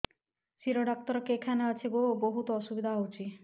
ଶିର doctor କେଖାନେ ଅଛେ ଗୋ ବହୁତ୍ ଅସୁବିଧା ହଉଚି